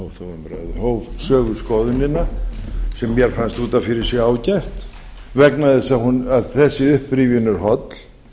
þá umræðu hóf söguskoðunina sem mér fannst út af fyrir sig ágætt vegna þess að þessi upprifjun er holl